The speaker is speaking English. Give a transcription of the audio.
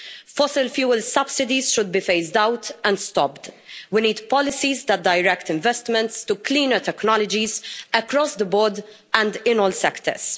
Fossil fuel subsidies should be phased out and stopped. We need policies that direct investments to cleaner technologies across the board and in all sectors.